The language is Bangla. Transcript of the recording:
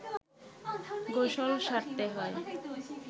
গোসল সারতে হয়